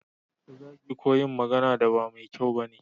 Ta zagi ko yin magana da ba mai kyau bane